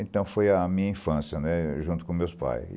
Então foi a minha infância né, junto com meus pais.